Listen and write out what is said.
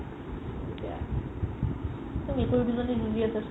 মেকুৰি দুজনি যুজি আছে চোৱা